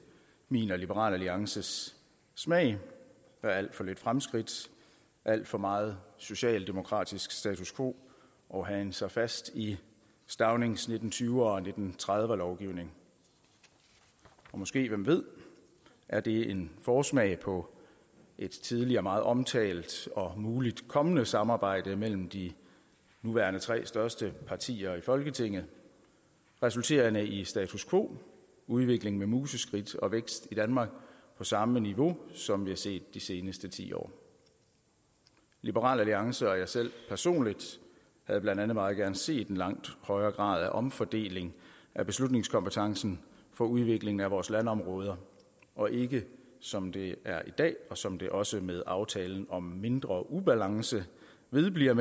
min og liberal alliances smag der er alt for lidt fremskridt alt for meget socialdemokratisk status quo og hagen sig fast i staunings nitten tyve er og nitten tredive er lovgivning og måske hvem ved er det en forsmag på et tidligere meget omtalt og muligt kommende samarbejde mellem de nuværende tre største partier i folketinget resulterende i status quo udvikling med museskridt og vækst i danmark på samme niveau som vi har set de sidste ti år liberal alliance og jeg selv personligt havde blandt andet meget gerne set en langt højere grad af omfordeling af beslutningskompetencen for udviklingen af vores landområder og ikke som det er i dag og som det også med aftalen om mindre ubalance vedbliver